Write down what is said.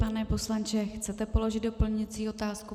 Pane poslanče, chcete položit doplňující otázku?